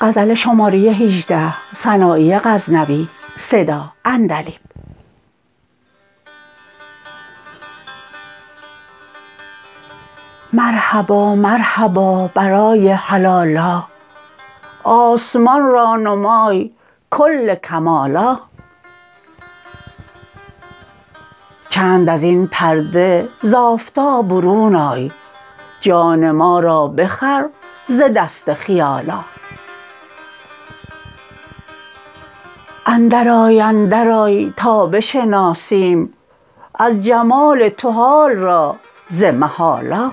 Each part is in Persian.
مرحبا مرحبا برای هلالا آسمان را نمای کل کمالا چند ازین پرده ز آفتاب برون آی جان ما را بخر ز دست خیالا اندر آی اندر آی تا بشناسیم از جمال تو حال را ز محالا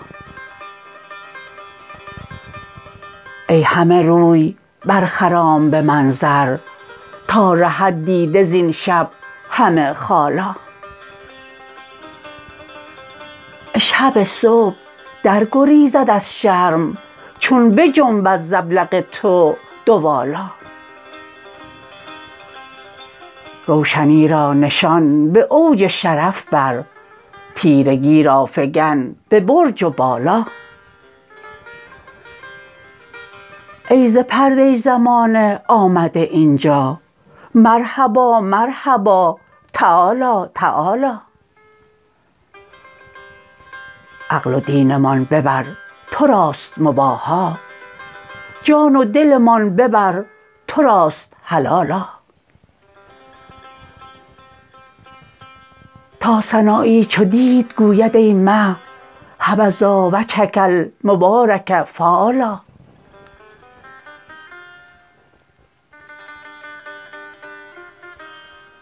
ای همه روی بر خرام به منظر تا رهد دیده زین شب همه خالا اشهب صبح در گریزد از شرم چون بجنبد ز ابلق تو دوالا روشنی را نشان به اوج شرف بر تیرگی را فگن به برج و بالا ای ز پرده زمانه آمده اینجا مرحبا مرحبا تعالی تعالا عقل و دینمان ببر تراست مباحا جان و دلمان ببر تراست حلالا تا سنایی چو دید گوید ای مه حبذا و جهک المبارک فالا